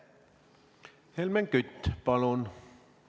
Helmen Kütt, palun!